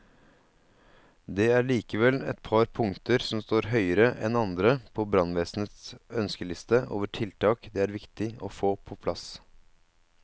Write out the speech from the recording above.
Det er likevel et par punkter som står høyere enn andre på brannvesenets ønskeliste over tiltak det er viktig å få på plass.